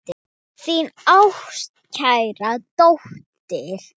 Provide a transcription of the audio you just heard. Þín ástkæra dóttir.